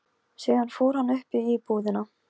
Þorbergur, kanntu að spila lagið „Vestmannaeyjabær“?